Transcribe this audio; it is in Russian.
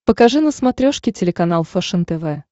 покажи на смотрешке телеканал фэшен тв